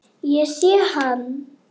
Ég sé hann